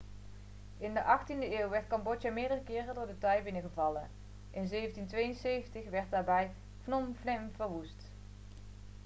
in de 18e eeuw werd cambodja meerdere keren door de thai binnengevallen in 1772 werd daarbij phnom phen verwoest